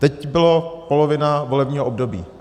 Teď byla polovina volebního období.